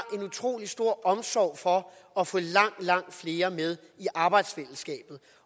en utrolig stor omsorg for at få langt langt flere med i arbejdsfællesskabet